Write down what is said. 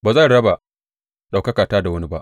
Ba zan raba ɗaukakata da wani ba.